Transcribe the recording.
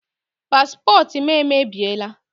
Paspọtụ m emebiela.